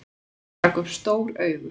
Hann rak upp stór augu.